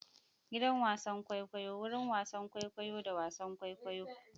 Gidan wasan kwaikwayo: wurin wasan kwaikwayo da wasan kwaikwayo.